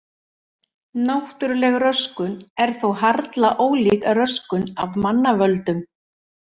Náttúrleg röskun er þó harla ólík röskun af mannavöldum.